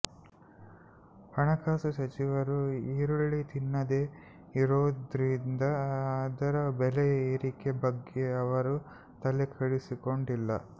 ಹಣಕಾಸು ಸಚಿವರು ಈರುಳ್ಳಿ ತಿನ್ನದೇ ಇರೋದ್ರಿಂದ ಅದರ ಬೆಲೆ ಏರಿಕೆ ಬಗ್ಗೆ ಅವರು ತಲೆಕೆಡಿಸಿಕೊಂಡಿಲ್ಲ